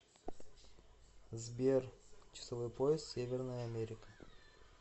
сбер часовой пояс северная америка